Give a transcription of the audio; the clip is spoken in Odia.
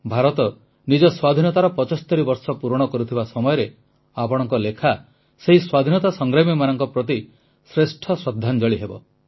ଭାରତ ନିଜ ସ୍ୱାଧୀନତାର 75 ବର୍ଷ ପୂରଣ କରୁଥିବା ସମୟରେ ଆପଣଙ୍କ ଲେଖା ସେହି ସ୍ୱାଧୀନତା ସଂଗ୍ରାମୀମାନଙ୍କ ପ୍ରତି ଶ୍ରେଷ୍ଠ ଶ୍ରଦ୍ଧାଞ୍ଜଳି ହେବ